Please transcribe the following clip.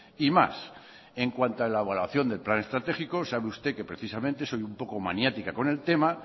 y más en cuanto a elaboración del plan estratégico sabe usted que precisamente soy un poco maniática con el tema